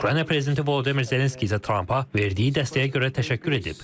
Ukrayna prezidenti Volodimir Zelenski isə Trampa verdiyi dəstəyə görə təşəkkür edib.